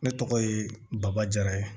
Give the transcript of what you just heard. Ne tɔgɔ ye baba jara ye